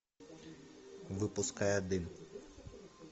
выпуская дым